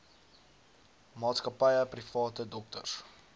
maatskappye private dokters